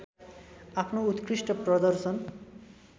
आफ्नो उत्कृष्ट प्रदर्शन